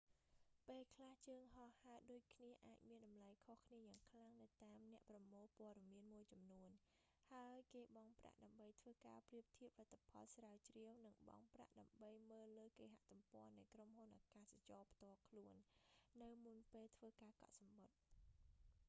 ពេលខ្លះ ជើងហោះហើរដូចគ្នាអាចមានតម្លៃខុសគ្នាយ៉ាងខ្លាំងនៅតាមអ្នកប្រមូលព័ត៌មានមួយចំនួន ហើយគេបង់ប្រាក់ដើម្បីធ្វើការប្រៀបធៀបលទ្ធផលស្រាវជ្រាវ និងបង់ប្រាក់ដើម្បីមើលលើគេហទំព័រនៃក្រុមហ៊ុនអាកាសចរផ្ទាល់ខ្លួន នៅមុនពេលធ្វើការកក់សំបុត្រ